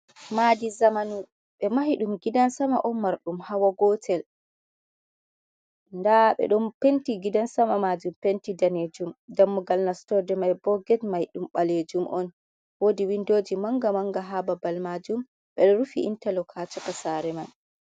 Madi zamanu ,be mahi dum gidan sama on mar dum hawa gotel ,da be don penti gidan sama majum penti danejum dammugal nastorde mai boget mai dum balejum on, wodi windoji manga manga ha babal majum bedo rufi intalok ha chaka sareman.